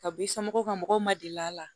Ka b'i somɔgɔw ka mɔgɔw ma deli a la